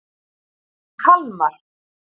Kalmar